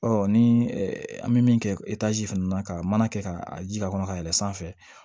ni an bɛ min kɛ fana na ka mana kɛ ka a jija ka yɛlɛn sanfɛ